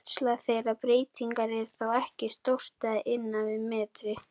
Útslag þeirra breytinga er þó ekki stórt eða innan við metri.